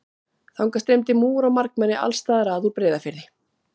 Þangað streymdi múgur og margmenni alls staðar að úr Breiðafirði.